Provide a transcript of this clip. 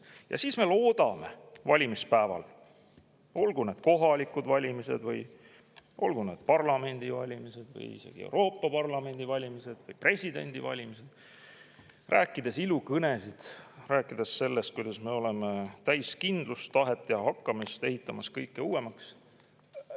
Ja siis me loodame valimispäeval, olgu need kohalikud valimised või parlamendivalimised või isegi Euroopa Parlamendi valimised või presidendivalimised, ja räägime ilukõnesid sellest, kuidas me oleme täis kindlust, tahet ja hakkamist ning ehitame kõike uuemaks.